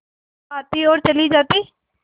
ईद आती और चली जाती